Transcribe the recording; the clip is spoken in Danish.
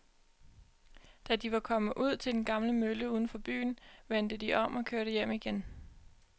Da de var kommet ud til den gamle mølle uden for byen, vendte de om og kørte hjem igen.